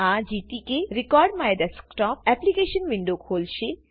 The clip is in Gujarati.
આ gtk recordMyDesktopએપ્લીકેશન વિન્ડો ખોલશે